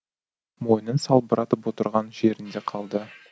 мойнын салбыратып отырған жерінде қалды